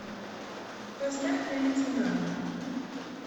поставь мне лейтенант